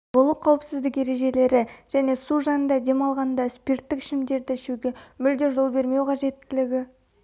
болу қауіпсіздік ережелері және су жанында дем алғанда спирттік ішімдіктерді ішуге мүлде жол бермеу қажеттілігі